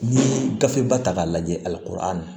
N'i ye gafe ba ta k'a lajɛ ali a